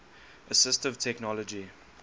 assistive technology